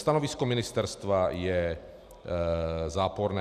Stanovisko ministerstva je záporné.